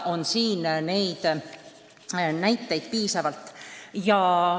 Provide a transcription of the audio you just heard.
Neid näiteid on piisavalt.